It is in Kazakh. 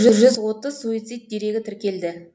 жүз отыз суицид дерегі тіркелді